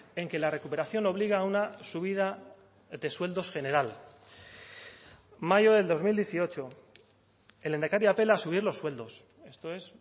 en que la recuperación obliga a una subida de sueldos general mayo del dos mil dieciocho el lehendakari apela a subir los sueldos esto es